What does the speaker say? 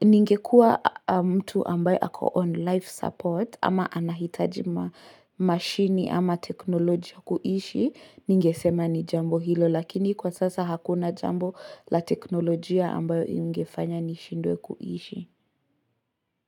Ningekua mtu ambayo ako on life support, ama anahitaji mashini ama teknolojia kuishi, Ningesema ni jambo hilo lakini kwa sasa hakuna jambo la teknolojia ambayo ingefanya nishindwe kuishi.